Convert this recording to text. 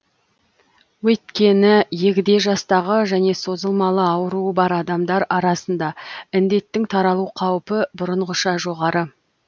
өйткені егде жастағы және созылмалы ауруы бар адамдар арасында індеттің таралу қаупі бұрынғыша жоғары